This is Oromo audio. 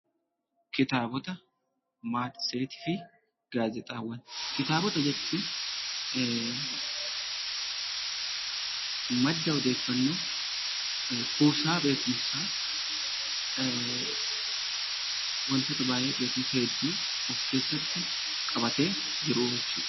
Kitaabota, Matseetii fi Gaazeexaawwan Kitaabota jechuun madda odeeffannoo, kuusaa beekumsaa, wantoota baay'ee beekumsa hedduu of keessatti qabatee jiru jechuu dha.